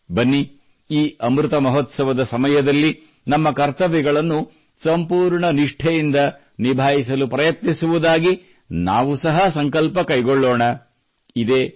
ಹೀಗಾಗಿ ಬನ್ನಿ ಈ ಅಮೃತಮಹೋತ್ಸದ ಸಮಯದಲ್ಲಿ ನಮ್ಮ ಕರ್ತವ್ಯಗಳನ್ನು ಸಂಪೂರ್ಣ ನಿಷ್ಠೆಯಿಂದ ನಿಭಾಯಿಸಲು ಪ್ರಯತ್ನಿಸುವುದಾಗಿ ನಾವು ಸಹ ಸಂಕಲ್ಪ ಕೈಗೊಳ್ಳೋಣ